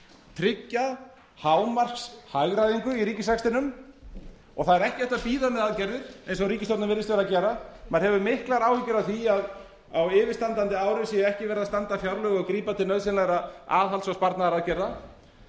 tryggja hámarkshagræðingu í ríkisrekstrinum og það er ekki hægt að bíða með aðgerðir eins og ríkisstjórnin virðist vera að gera maður hefur miklar áhyggjur af því að á yfirstandandi ári sé ekki verið að standa fjárlög og grípa til nauðsynlegra aðhalds og sparnaðaraðgerða